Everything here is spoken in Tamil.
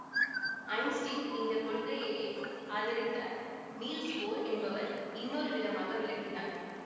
ஐன்ஸ்டைன் இந்த கொள்கையையே ஆதரித்தார் நீல்ஸ் போர் என்பவர் இன்னொரு விதமாக விளக்கினார்